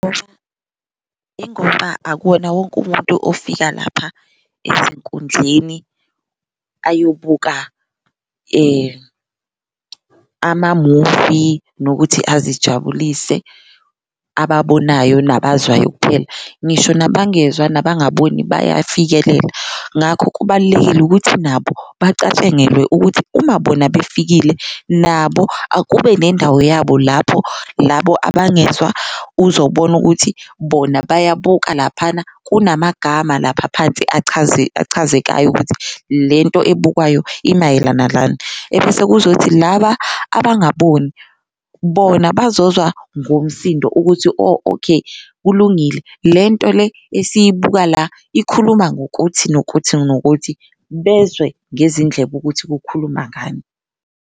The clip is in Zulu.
Ingoba akuwona wonke umuntu ofika lapha ezinkundleni ayobuka amamuvi nokuthi ezijabulise ababonayo nabazwayo kuphela, ngisho nabangezwa nabangaboni bayafikelela. Ngakho kubalulekile ukuthi nabo bacatshangelwe ukuthi uma bona befikile nabo akube nendawo yabo lapho labo abangezwa uzobona ukuthi bona bayabuka laphana kunamagama lapha aphansi achazekayo ukuthi lento ebukwayo imayelana nani. Ebese kuzothi laba abangaboni bona bazozwa ngomsindo ukuthi, oh okay kulungile, lento le eyisibuka la ikhuluma ngokuthi nokuthi nokuthi bezwe ngezindlebe ukuthi kukhuluma ngani.